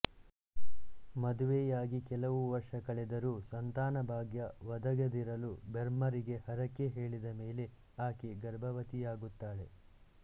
ಮದುವೆಯಾಗಿ ಕೆಲವು ವರ್ಷ ಕಳೆದರೂ ಸಂತಾನ ಭಾಗ್ಯ ಒದಗದಿರಲು ಬೆರ್ಮರಿಗೆ ಹರಕೆ ಹೇಳಿದ ಮೇರೆಗೆ ಆಕೆ ಗರ್ಭವತಿಯಾಗುತ್ತಾಳೆ